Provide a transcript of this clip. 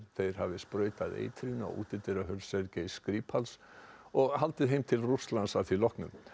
þeir hafi sprautað eitrinu á útidyrahurð Skripal og haldið heim til Rússlands að því loknu